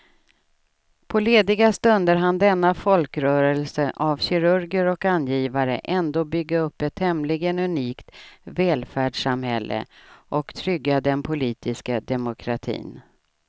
På lediga stunder hann denna folkrörelse av kirurger och angivare ändå bygga upp ett tämligen unikt välfärdssamhälle och trygga den politiska demokratin.